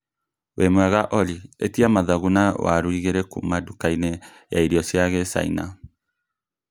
wĩ mwega Olly etia mathagu na warũ igĩrĩ kuuma ndukainĩ ya irio cia kichina